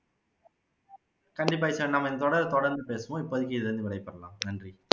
கண்டிப்பா நம்ம தொடர் தொடர்ந்து பேசுவோம் இப்போதைக்கு இதுல இருந்து விடைபெறலாம் நன்றி